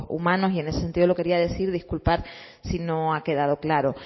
humanos y en ese sentido lo quería decir disculpar si no ha quedado claro